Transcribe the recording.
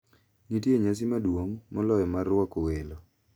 Nitie nyasi maduong` moloyo mar rwako "welo".